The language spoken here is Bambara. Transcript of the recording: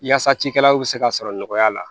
Yaasa cikɛlaw bɛ se ka sɔrɔ nɔgɔya la